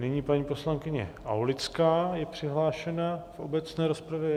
Nyní paní poslankyně Aulická je přihlášena v obecné rozpravě.